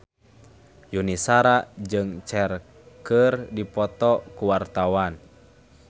Yuni Shara jeung Cher keur dipoto ku wartawan